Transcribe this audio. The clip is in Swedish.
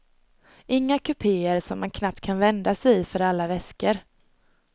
Inga kupéer som man knappt kan vända sig i för alla väskor.